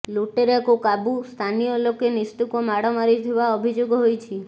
ଲୁଟେରାକୁ କାବୁ ସ୍ଥାନୀୟ ଲୋକେ ନିସ୍ତୁକ ମାଡ ମାରିଥିବା ଅଭିଯୋଗ ହୋଇଛି